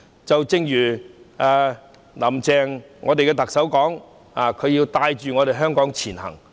正如特首"林鄭"所說，她要帶領香港前行。